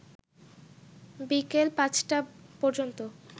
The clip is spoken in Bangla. বিকেল ৫টা পর্যন্ত